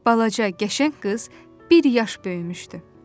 Balaca, qəşəng qız bir yaş böyümüşdü.